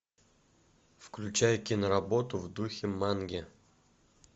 включай киноработу в духе манги